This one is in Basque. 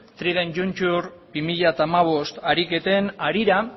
trident juncture bi mila hamabost ariketen harira